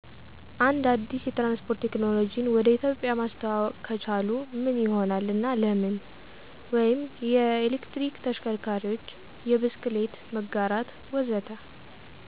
አንድ አዲስ የትራንስፖርት ቴክኖሎጂን ወደ ኢትዮጵያ ማስተዋወቅ ከቻሉ ምን ይሆናል እና ለምን? (የኤሌክትሪክ ተሽከርካሪዎች፣ የብስክሌት መጋራት፣ ወዘተ.)